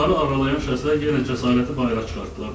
Onları aralayan şəxslər yenə cəsarəti bayıra çıxartdılar.